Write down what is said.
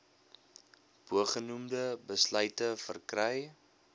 bogenoemde besluite verkry